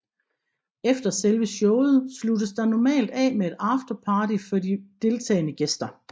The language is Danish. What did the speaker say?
Efter selve showet sluttes der normalt af med et afterparty for de deltagende gæster